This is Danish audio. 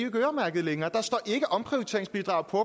ikke øremærkede længere der står ikke omprioriteringsbidrag på